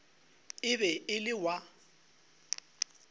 e be e le wa